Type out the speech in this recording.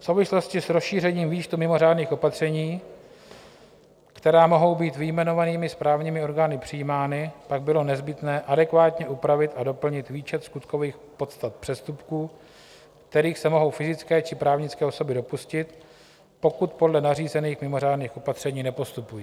V souvislosti s rozšířením výčtu mimořádných opatření, která mohou být vyjmenovanými správními orgány přijímána, pak bylo nezbytné adekvátně upravit a doplnit výčet skutkových podstat přestupků, kterých se mohou fyzické či právnické osoby dopustit, pokud podle nařízených mimořádných opatření nepostupují.